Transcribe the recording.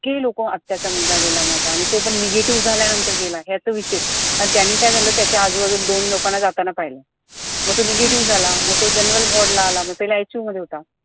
इतके लोक अत्याचा मुलगा गेला माझा आणि तो पण negative झाल्यानंतर गेला ह्याच विशेष आणि त्यांनी काय झालं त्यांच्या आजूबाजूला दोन लोकांना जाताना पाहिलं मग तो negative झाला मग तो general ward आला पहिला ICU मध्ये होता